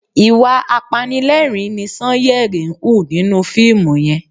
Ìwà apanilẹ́rìn-ín ni Sanyeri ń hù nínú fíìmù yen